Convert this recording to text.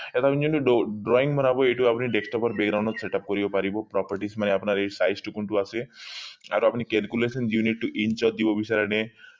drawing বনাব এইটো আপুনি desktop background ত setup কৰিব পাৰিব properties মানে আপোনাৰ এই size কোনটো আছে আৰু আপুনি calculation unit টো insert দিব বিচাৰে নে